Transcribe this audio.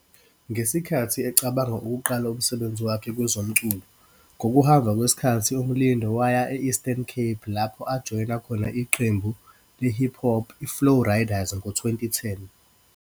Ngesikhathi ecabanga ukuqala umsebenzi wakhe kwezomculo, ngokuhamba kwesikhathi uMlindo waya e-Eastern Cape lapho ajoyina khona iqembu le-hip hop iFlow Riders ngo-2010.